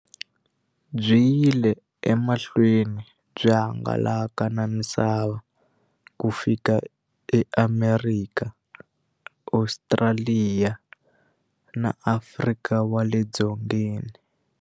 Byi yile emahlweni byi hangalaka na misava ku fika eAmerika, Ostraliya na Afrika wale dzongeni.